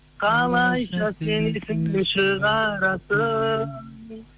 қалайша сен есіңнен шығарсың